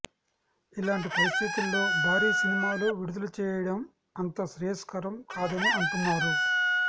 ఇలాంటి పరిస్థితుల్లో భారీ సినిమాలు విడుదల చేయడం అంత శ్రేయస్కరం కాదని అంటున్నారు